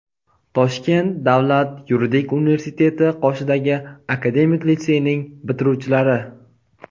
Toshkent davlat yuridik universiteti qoshidagi akademik litseyning bitiruvchilari.